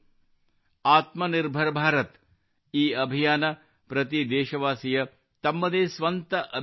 ಆತ್ಮನಿರ್ಭರ್ ಭಾರತ್ ಈ ಅಭಿಯಾನ ಪ್ರತಿ ದೇಶವಾಸಿಯ ತಮ್ಮದೇ ಸ್ವಂತ ಅಭಿಯಾನವಾಗಿದೆ